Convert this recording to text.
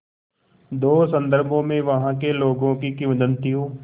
दो संदर्भों में वहाँ के लोगों की किंवदंतियों